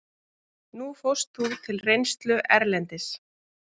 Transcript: Nú fórst þú til reynslu erlendis.